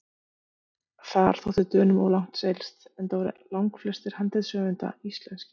Þar þótti Dönum of langt seilst, enda voru langflestir handritshöfunda íslenskir.